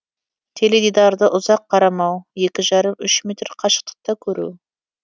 теледидарды ұзақ қарамау екі жарым үш метр қашықтықта көру